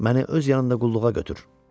Məni öz yanında qulluğa götür.